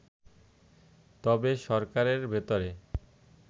তবে সরকারের ভেতরে